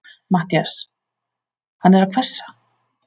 MATTHÍAS: Hann er að hvessa?